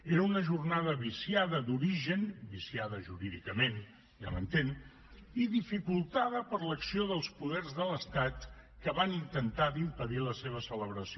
era una jornada viciada d’origen viciada jurídicament ja m’entén i dificultada per l’acció dels poders de l’estat que van intentar d’impedir la seva celebració